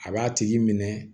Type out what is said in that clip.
A b'a tigi minɛ